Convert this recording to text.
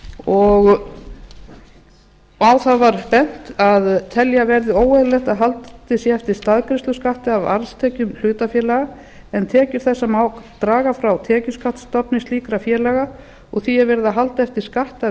og á það var bent að telja verði óeðlilegt að haldið sé eftir staðgreiðsluskatti af arðstekjum hlutafélaga tekjur þessar má draga frá tekjuskattsstofni slíkra félaga og því er verið að halda eftir skatti af